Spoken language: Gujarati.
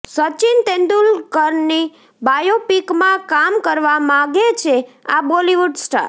સચિન તેંડુલકરની બાયોપિકમાં કામ કરવા માગે છે આ બોલિવૂડ સ્ટાર